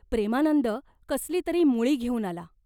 प्रेमानंद कसली तरी मुळी घेऊन आला.